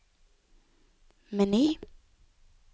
meny